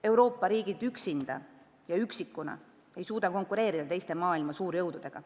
Euroopa riigid üksinda ja üksikuna ei suuda konkureerida teiste maailma suurjõududega.